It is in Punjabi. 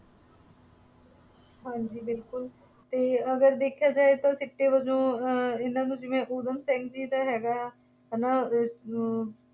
ਹਾਂਜੀ ਬਿਲਕੁੱਲ ਅਤੇ ਅਗਰ ਦੇਖਿਆ ਜਾਏ ਤਾਂ ਸਿੱਟੇ ਵਜੋਂ ਅਹ ਇਹਨਾ ਨੂੰ ਜਿਵੇਂ ਉੱਦਮ ਸਿੰਘ ਜੀ ਦਾ ਹੈਗਾ ਹੈ ਨਾ ਅਮ